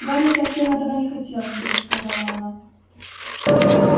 гарри совсем этого не хотел вдруг сказала она